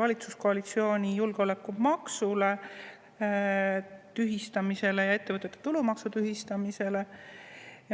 valitsuskoalitsiooni julgeolekumaksu tühistamisele ja ettevõtete tulumaksu tühistamisele.